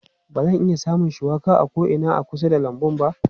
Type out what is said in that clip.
Ba zan iya samun shuwaka a ko'ina a kusa da lambun ba.